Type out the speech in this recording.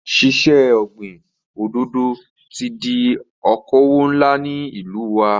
Ṣíṣe ọ̀gbin òdòdò ti di okòwò ńlá ní ìlú wa.